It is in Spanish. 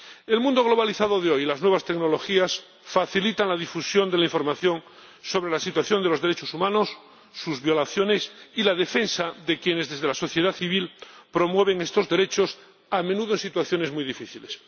El mundo globalizado de hoy y las nuevas tecnologías facilitan la difusión de la información sobre la situación de los derechos humanos, sus violaciones y la defensa de quienes desde la sociedad civil promueven estos derechos, a menudo en situaciones muy difíciles.